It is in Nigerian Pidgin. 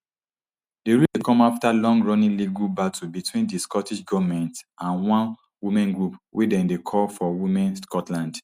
di ruling dey come afta longrunning legal battle between di scottish goment and one women group wey dem dey call for women scotland